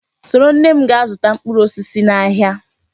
Soro nne m gaa zụta mkpụrụ osisi n'ahịa!